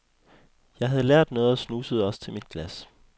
Jeg havde lært noget og snusede også til mit glas.